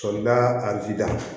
Sɔrɔ da a vida